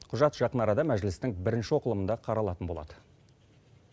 құжат жақын арада мәжілістің бірінші оқылымында қаралатын болады